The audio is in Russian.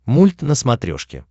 мульт на смотрешке